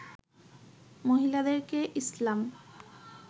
মহিলাদেরকে ইসলাম